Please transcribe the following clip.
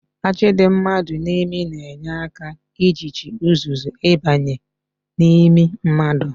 Ajị dị mmadụ n'imi na-enye aka ijichi uzuzu ịbanye n'imi mmadụ